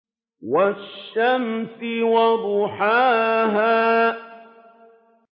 وَالشَّمْسِ وَضُحَاهَا